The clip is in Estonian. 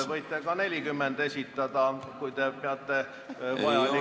Võite ka 40 esitada, kui peate seda vajalikuks.